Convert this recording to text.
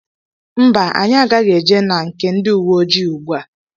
Mba anyị agaghị eje na nke ndị uweojii ùgbúà.